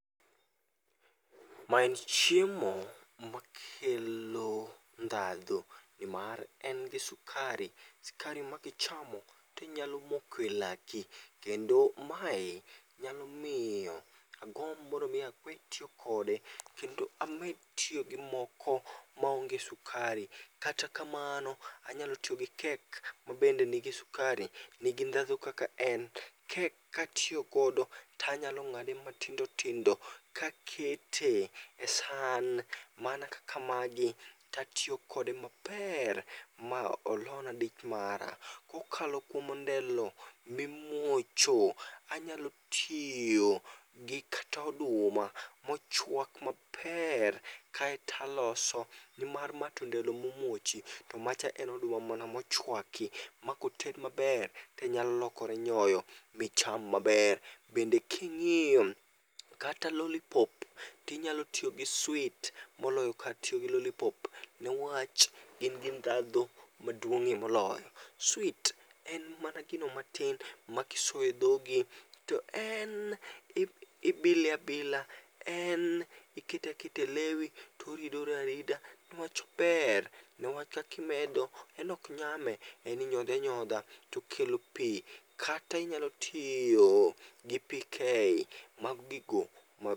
Ma en chiemo, makelo ndhadh, nimar en gi sukari, skari makichamo tinyalo moko e laki. Kendo mae, nyalo miyo agomb mondo mi awe tiyo kode kendo amed tiyo gi moko maonge sukari. Kata kamano, anyalo tiyo gi kek mabende nigi sukari , nigi ndhadhu kaka en. Kek katiyo godo tanyalo ng'ade matindotindo kakete e san mana kaka magi tatiyo kode maper ma olona dich mara. Kokalo kuom ondelo, mimuocho, anyalo tiyo gi kata oduma mochwak maper, kae taloso nimar ma to ondelo momuochi to macha en oduma mana mochwaki ma koted maber tenyalo lokore nyoyo micham maber. Bende king'iyo, kata lolipop tinyalo tiyo gi sweet moloyo kar tiyo gi lolipop newach, gin gi ndhadhu maduong'ie moloyo. sweet en mana gino matin makisoyo e dhogi to en ibi ibile abila, en ikete aketa e lewi toridore arida newach ober, newach kakimedo, en ok nyame, en inyodhe anyodha tokelo pii. Kata inyalo tiyo gi PK mag gigo